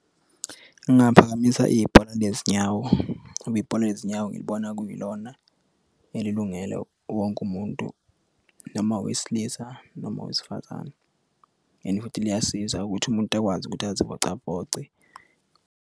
Ngingaphakamisa ibhola lezinyawo ngoba ibhola lezinyawo ngilibona kulona elilungele wonke umuntu noma wesilisa noma owesifazane and futhi liyasiza ukuthi umuntu akwazi ukuthi azivocavoce.